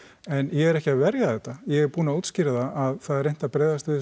en ég er ekki að verja þetta ég er búinn að útskýra það að það er reynt að bregðast við þessu